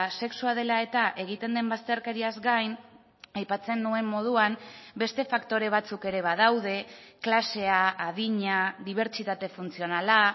sexua dela eta egiten den bazterkeriaz gain aipatzen nuen moduan beste faktore batzuk ere badaude klasea adina dibertsitate funtzionala